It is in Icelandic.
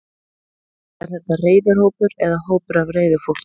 Er þetta reiður hópur eða hópur af reiðu fólki?